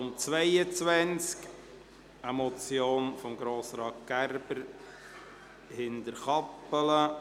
Es geht um eine Motion von Grossrat Gerber, Hinterkappelen: